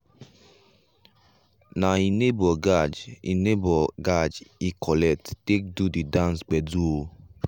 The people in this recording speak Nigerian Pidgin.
na he neibor gajj he neibor gajj he collect take go the dance gbedu o.